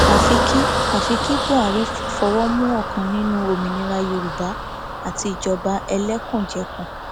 àfi kí àfi kí buhari fọwọ mú ọkan nínú òmìnira yorùbá àti ìjọba ẹlẹkùnjẹkùn